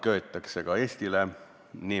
See mõjub ka Eestile.